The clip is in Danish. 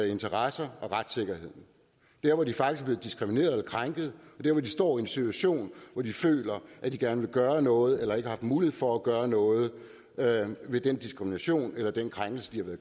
interesser og retssikkerhed der hvor de faktisk er blevet diskrimineret eller krænket der hvor de står i en situation hvor de føler at de gerne vil gøre noget eller ikke har mulighed for at gøre noget ved den diskrimination eller den krænkelse de